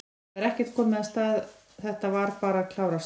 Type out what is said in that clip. Það er ekkert komið af stað, þetta var bara að klárast?